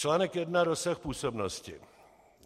Článek 1. Rozsah působnosti